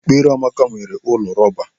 Ekpereamaka nwere ụlọ rọba.